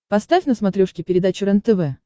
поставь на смотрешке передачу рентв